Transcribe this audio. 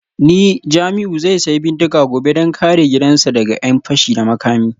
Ni Jamiu zai sayi bindiga gobe don kare gidansa daga ’yan fashi da makami